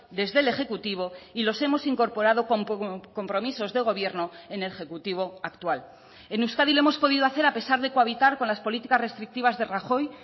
desde el ejecutivo y los hemos incorporado con compromisos de gobierno en el ejecutivo actual en euskadi lo hemos podido hacer a pesar de cohabitar con las políticas restrictivas de rajoy